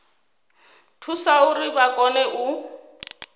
thusa uri vha kone u